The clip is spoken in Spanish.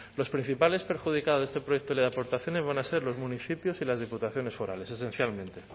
los principales perjudicados de este proyecto ley de aportaciones van a ser los municipios y las diputaciones forales esencialmente